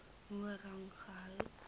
hoër rang gehou